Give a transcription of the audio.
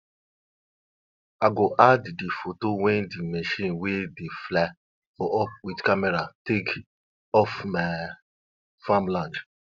tori talk sey the first person to plant maize na wan woman wey get golden fingers wey her husband don die